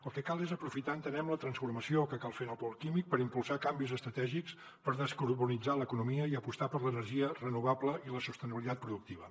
el que cal és aprofitar entenem la transformació que cal fer en el pol químic per impulsar canvis estratègics per descarbonitzar l’economia i apostar per l’energia renovable i la sostenibilitat productiva